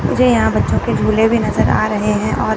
मुझे यहां बच्चों के झूले भी नजर आ रहे हैं और--